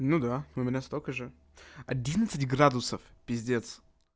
ну да у меня столько же одиннадцать градусов пиздец